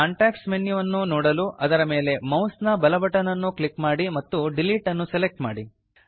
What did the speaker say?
context menu ವನ್ನು ನೋಡಲು ಅದರ ಮೇಲೆ ಮೌಸ್ ನ ಬಲ ಬಟನ್ ಅನ್ನು ಕ್ಲಿಕ್ ಮಾಡಿ ಮತ್ತು ಡಿಲೀಟ್ ಅನ್ನು ಸೆಲೆಕ್ಟ್ ಮಾಡಿ